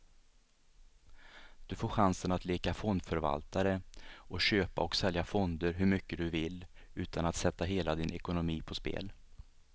Du får chansen att leka fondförvaltare och köpa och sälja fonder hur mycket du vill, utan att sätta hela din ekonomi på spel.